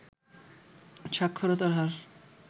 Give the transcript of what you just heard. সাক্ষরতার হার